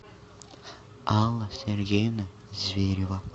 алла сергеевна зверева